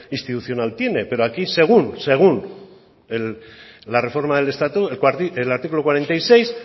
institucional tiene pero aquí según la reforma del estatuto el artículo cuarenta y seis